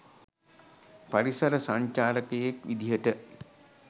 පරිසර සංචාරකයෙක් විදිහට